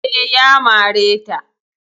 Eh, Ya mare ta